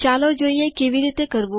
ચાલો જોઈએ કેવી રીતે કરવું